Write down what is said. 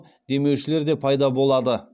демеушілер де пайда болады